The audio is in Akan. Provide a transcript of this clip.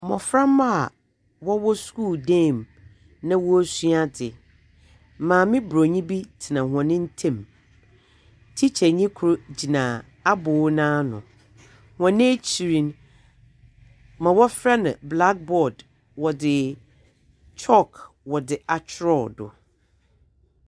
Mboframba a wɔwɔ skuul dan mu na worusua adze. Maame Borɔnyi bi tsena hɔn ntamu. Tsikyanyi kor gyina abow no ano. Na hɔn ekyir no, dza wɔfrɛ no Blackboard wɔdze chalk wɔdze akyerɛw do.